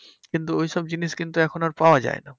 কিন্তু ঐসব জিনিস কিন্তু এখন আর পাওয়া যায় না।